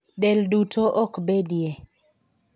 Del duto ok bedie .